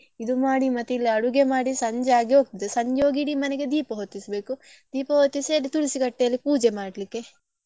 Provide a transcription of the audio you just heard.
ಇದು ಮಾಡಿ ಮತ್ತೆ ಇಲ್ಲಿ ಅಡುಗೆ ಮಾಡಿ ಸಂಜೆ ಆಗಿ ಹೋಗ್ತದೆ ಸಂಜೆ ಹೋಗಿ ಇಡೀ ಮನೆಗೆ ದೀಪ ಹೊತ್ತಿಸ್ಬೇಕು ದೀಪ ಹೊತ್ತಿಸಿ ಅಲ್ಲಿ ತುಳಸಿ ಕಟ್ಟೆಯಲ್ಲಿ ಪೂಜೆ ಮಾಡ್ಲಿಕ್ಕೆ.